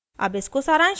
अब इसको सारांशित करते हैं